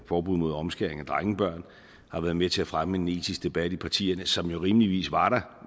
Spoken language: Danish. forbud mod omskæring af drengebørn har været med til at fremme en etisk debat i partierne som jo rimeligvis var der